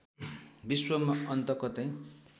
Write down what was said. विश्वमा अन्त कतै